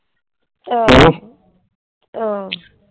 ਆ।